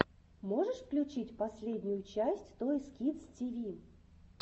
можешь включить последнюю часть тойс кидс ти ви